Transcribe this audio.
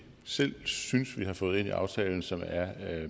selv synes vi har fået ind i aftalen som er